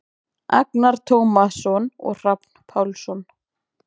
Agnar Tómasson og Hrafn Pálsson.